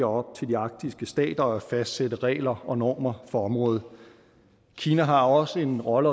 op til de arktiske stater at fastsætte regler og normer for området kina har også en rolle